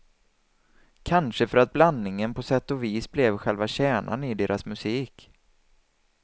Kanske för att blandningen på sätt och vis blev själva kärnan i deras musik.